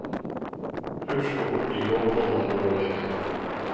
Husk å oppgi kortnummer når du ringer.